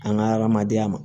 An ka hadamadenya ma